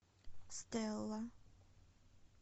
стелла